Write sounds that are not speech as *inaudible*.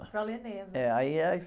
Para, *unintelligible* é aí, é aí...